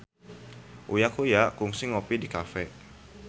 Uya Kuya kungsi ngopi di cafe